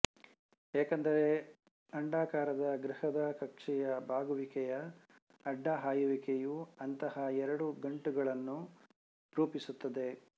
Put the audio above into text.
ಏಕೆಂದರೆ ಅಂಡಾಕಾರದ ಗೃಹದ ಕಕ್ಷೆಯ ಬಾಗುವಿಕೆಯ ಅಡ್ಡಹಾಯುವಿಕೆಯು ಅಂತಹ ಎರಡು ಗಂಟುಗಳನ್ನು ರೂಪಿಸುತ್ತದೆ